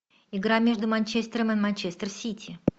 игра между манчестером и манчестер сити